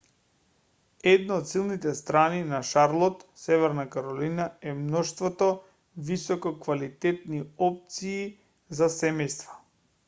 една од силните страни на шарлот северна каролина е мноштвото висококвалитетни опции за семејства